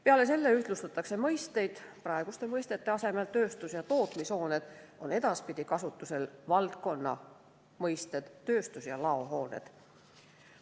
Peale selle ühtlustatakse mõisteid: praeguse mõiste "tööstus- ja tootmishooned" asemel on edaspidi kasutusel kõnealuse valdkonna mõiste "tööstus- ja laohooned".